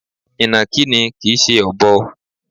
Ìnàkí ni kìí ṣe Ọ̀bọ.